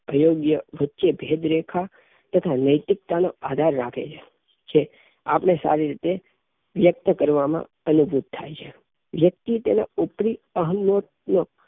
અયોગ્ય વચ્ચે ભેદરેખા તથા નૈતિકતા નાં આધાર રાખે છે આપને સારી રીતે વ્યક્ત કરવામાં અનુરૂપ થાય છે વ્યક્તિ તેના ઉપરીઅહં યોગ નો